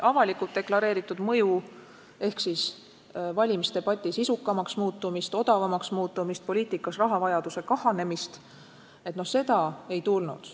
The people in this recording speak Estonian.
Avalikult deklareeritud mõju ehk siis valimisdebati sisukamaks muutumist, odavamaks muutumist, poliitikas rahavajaduse kahanemist – seda ei tulnud.